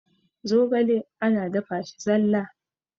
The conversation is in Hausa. zogale ana dafa shi zalla